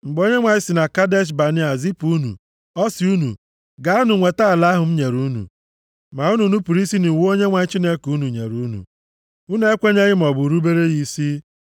Mgbe Onyenwe anyị si na Kadesh Banea zipụ unu ọ sị unu, “Gaanụ nweta ala ahụ m nyere unu.” Ma unu nupuru isi nʼiwu Onyenwe anyị Chineke unu nyere unu. Unu ekwenyeghị maọbụ rubere ya isi.